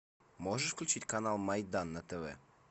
можешь включить канал майдан на тв